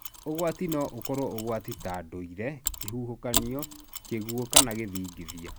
Ũgwati no ũkoro ũgwati qa ndũire, kĩhuhũkanio, kĩguo kana gĩthigithia.